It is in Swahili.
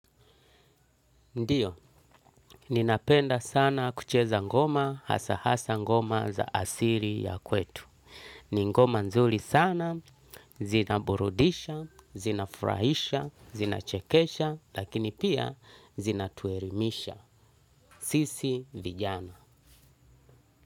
Ndiyo, ninapenda sana kucheza ngoma hasa hasa ngoma za asili ya kwetu. Ni ngoma nzuri sana, zinaburudisha, zinafurahisha, zinachekesha, lakini pia zinatuelimisha. Sisi vijana.